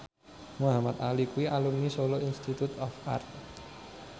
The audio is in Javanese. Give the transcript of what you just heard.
Muhamad Ali kuwi alumni Solo Institute of Art